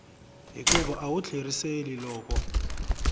hikuva a wu tlheriseli loko